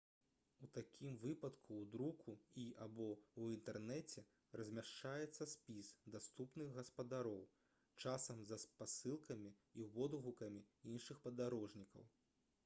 у такім выпадку ў друку і/або ў інтэрнэце размяшчаецца спіс даступных гаспадароў часам са спасылкамі і водгукамі іншых падарожнікаў